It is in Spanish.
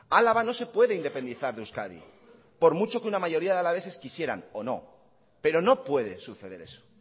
álava no se puede independizar de euskadi por mucho que una mayoría de alaveses quisieran o no pero no puede suceder eso